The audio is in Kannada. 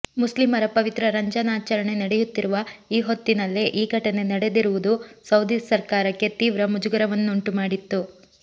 ಮುಸ್ಲಿಮರ ಪವಿತ್ರ ರಂಜಾನ್ ಆಚರಣೆ ನಡೆಯುತ್ತಿರುವ ಈ ಹೊತ್ತಿನಲ್ಲೇ ಈ ಘಟನೆ ನಡೆದಿರುವುದು ಸೌದಿ ಸರ್ಕಾರಕ್ಕೆ ತೀವ್ರ ಮುಜುಗರವನ್ನುಂಟು ಮಾಡಿತ್ತು